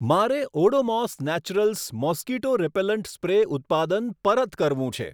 મારે Odomos naturals mosquito repellent spray ઉત્પાદન પરત કરવું છે.